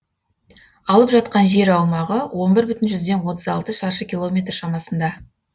алып жатқан жер аумағы он бір бүтін отыз алты шаршы километр шамасында